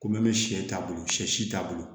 Ko min bɛ sɛ t'a bolo sɛ si t'a bolo